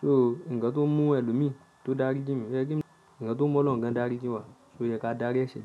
So ǹkan tó n mú ẹlòmíì tó dárí jìn mi, o ye kemi, ǹkan tó mu Olorun gan dárí jìn wa, o yẹ ká dárí ẹ̀ṣẹ̀ jìn.